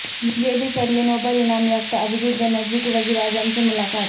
یہ بھی پڑھیں نوبل انعام یافتہ ابھیجیت بنرجی کی وزیر اعظم سے ملاقات